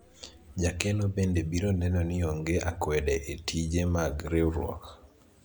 jakeno bende biro neno ni onge akwede e tije mag riwruok